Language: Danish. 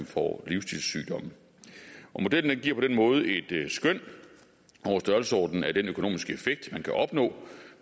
får livsstilssygdomme modellen giver på den måde et skøn over størrelsesordenen af den økonomiske effekt man kan opnå